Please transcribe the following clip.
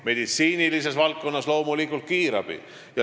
Meditsiinilises valdkonnas on selleks reageerijaks loomulikult kiirabi.